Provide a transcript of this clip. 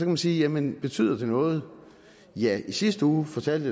man sige jamen betyder det noget ja i sidste uge fortalte